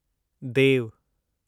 देव